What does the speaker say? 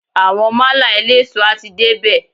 Àwọn málà eléso a ti dé bè.